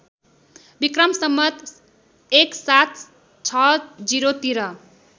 विक्रम सम्वत् १७६० तिर